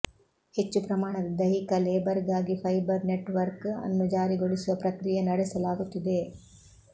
ಹೆಚ್ಚು ಪ್ರಮಾಣದ ದೈಹಿಕ ಲೇಬರ್ಗಾಗಿ ಫೈಬರ್ ನೆಟ್ವರ್ಕ್ ಅನ್ನು ಜಾರಿಗೊಳಿಸುವ ಪ್ರಕ್ರಿಯೆ ನಡೆಸಲಾಗುತ್ತಿದೆ